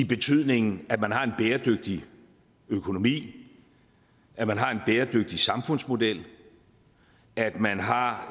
betydning at man har en bæredygtig økonomi at man har en bæredygtig samfundsmodel at man har